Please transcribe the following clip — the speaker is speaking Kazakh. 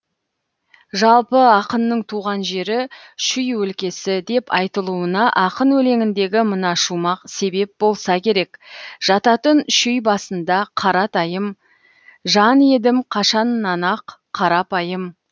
жалпы ақынның туған жері шүй өлкесі деп айтылуына ақын өлеңіндегі мына шумақ себеп болса керек жататын шүй басында қаратайым жан едім қашаннан ақ қарапайым